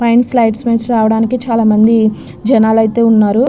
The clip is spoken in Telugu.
పైన స్లైడ్స్ మేధనుండి రావడానికి చాలా మంది జనాలు అయ్యతే ఉన్నారు.